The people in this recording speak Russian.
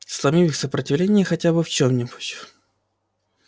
сломив их сопротивление хотя бы в чём-нибудь